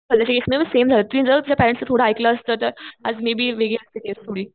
same झालं तिने जरा तिच्या पॅरेंट्सचं थोडं ऐकलं असत तर आज